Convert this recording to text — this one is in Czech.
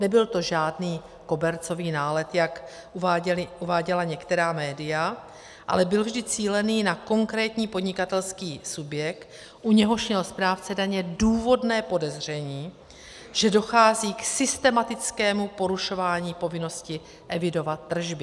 Nebyl to žádný kobercový nálet, jak uváděla některá média, ale byl vždy cílený na konkrétní podnikatelský subjekt, u něhož měl správce daně důvodné podezření, že dochází k systematickému porušování povinnosti evidovat tržby.